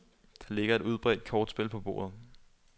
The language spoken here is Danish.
Der ligger et udbredt kortspil på bordet.